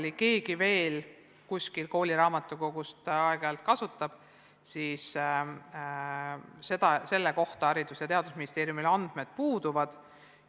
Kui keegi veel kuskil kooli raamatukogus aeg-ajalt mingit lisamaterjali kasutab, siis selle kohta Haridus- ja Teadusministeeriumil andmed puuduvad.